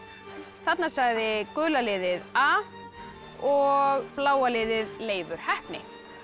þarna sagði gula liðið a og bláa liðið Leifur heppni